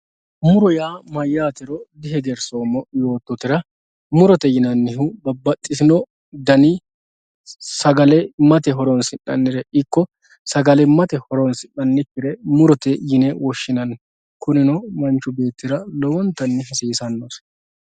Murro ya mayatero di hegerisomo yototera murote yinanihu babaxitini danni sagalimate horonsinanire iko sagalimaye horosinanikire muroye yinne woshinanni kunino manxhi betira lowontanni hasisanosi